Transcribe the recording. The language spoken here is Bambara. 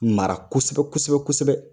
Mara kosɛbɛ kosɛbɛ kosɛbɛ.